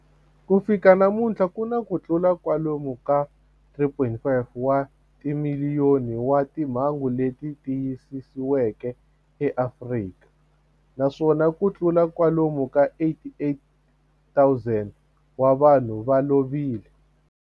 Ku fika namuntlha ku na kutlula kwalomu ka 3.5 wa timiliyoni wa timhangu leti tiyisisiweke eAfrika, naswona kutlula kwalomu ka 88,000 wa vanhu va lovile.